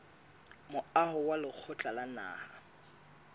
moaho wa lekgotla la naha